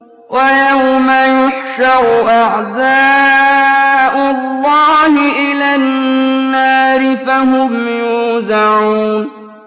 وَيَوْمَ يُحْشَرُ أَعْدَاءُ اللَّهِ إِلَى النَّارِ فَهُمْ يُوزَعُونَ